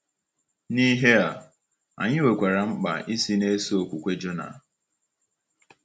N’ihe a, anyị nwekwara mkpa isi na-eso okwukwe Jona.